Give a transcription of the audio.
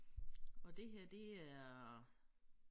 Og det her det er